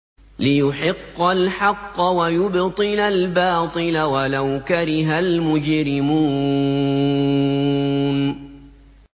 لِيُحِقَّ الْحَقَّ وَيُبْطِلَ الْبَاطِلَ وَلَوْ كَرِهَ الْمُجْرِمُونَ